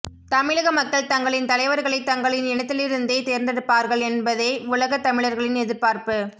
தமிழக மக்கள் தங்களின் தலைவர்களை தங்களின் இனத்திலிருந்தே தேர்ந்தெடுப்பார்கள் என்பதே உலகத் தமிழர்களின் எதிர்பார்ப்பு